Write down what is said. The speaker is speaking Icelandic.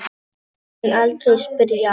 Mun aldrei spyrja.